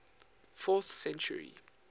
fourth century